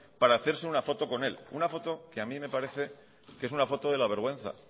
para hacerse una foto con él una foto que a mí me parece que es una foto de la vergüenza